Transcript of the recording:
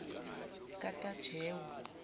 katajewo